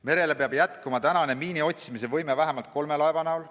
Merel peab püsima praegune miinide otsimise võime vähemalt kolme laeva näol.